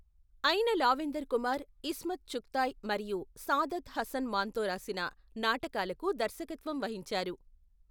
అయిన లావెందర్ కుమార్, ఇస్మత్ చుగ్తాయ్ మరియు సాదత్ హసన్ మాంతో రాసిన నాటకాలకు దర్శకత్వం వహించారు.